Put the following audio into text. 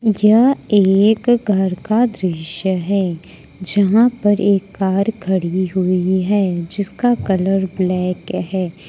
यह एक घर का दृश्य है जहां पर एक कार खड़ी हुई है जिसका कलर ब्लैक है।